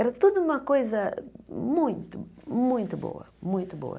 Era tudo uma coisa muito, muito boa muito boa.